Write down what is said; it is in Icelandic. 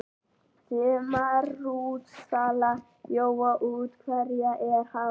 Sumarútsala jóa útherja er hafin.